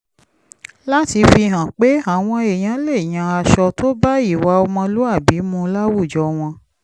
láti fi hàn pé àwọn èèyàn lè yan aṣọ tó bá ìwà ọmọlúwàbí mu láwùjọ wọn